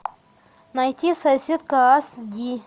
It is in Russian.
найти соседка ас ди